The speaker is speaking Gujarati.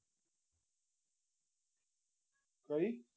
કઈ